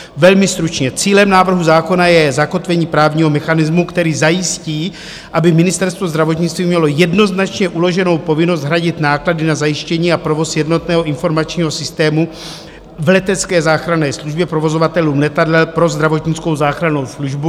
Velmi stručně: cílem návrhu zákona je zakotvení právního mechanismu, který zajistí, aby Ministerstvo zdravotnictví mělo jednoznačně uloženou povinnost hradit náklady na zajištění a provoz jednotného informačního systému v letecké záchranné službě provozovatelům letadel pro zdravotnickou záchrannou službu.